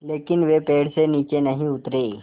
लेकिन वे पेड़ से नीचे नहीं उतरे